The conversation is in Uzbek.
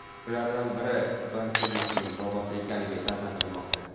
Ulardan biri Gonsalesning bobosi ekanligi taxmin qilinmoqda.